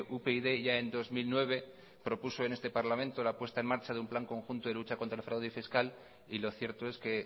upyd ya en dos mil nueve propuso en este parlamento la puesta en marcha de un plan conjunto de lucha contra el fraude fiscal y lo cierto es que